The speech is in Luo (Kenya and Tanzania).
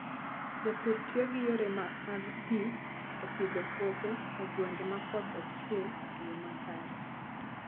Jopur tiyo gi yore mag pi e pidho puothe e gwenge ma koth ok chue e yo makare.